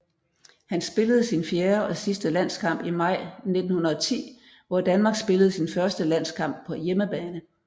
Han spillede sin fjerde og sidste landskamp i maj 1910 hvor Danmark spillede sin første landskamp på hjemmebane